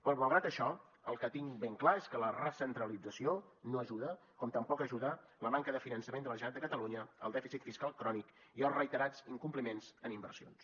però malgrat això el que tinc ben clar és que la recentralització no ajuda com tampoc ajuda la manca de finançament de la generalitat de catalunya el dèficit fiscal crònic i els reiterats incompliments en inversions